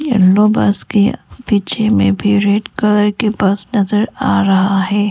Yellow bus के पीछे में भी रेड कलर की बस नजर आ रहा है।